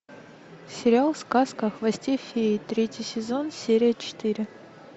сериал сказка о хвосте феи третий сезон серия четыре